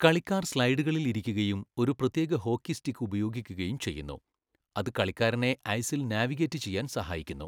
കളിക്കാർ സ്ലെഡുകളിൽ ഇരിക്കുകയും ഒരു പ്രത്യേക ഹോക്കി സ്റ്റിക്ക് ഉപയോഗിക്കുകയും ചെയ്യുന്നു, അത് കളിക്കാരനെ ഐസിൽ നാവിഗേറ്റ് ചെയ്യാൻ സഹായിക്കുന്നു.